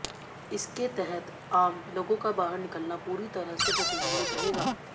इसके तहत आम लोगों का बाहर निकलना पूरी तरह से प्रतिबंधित रहेगा